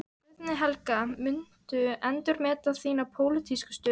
Guðný Helga: Muntu endurmeta þína pólitísku stöðu?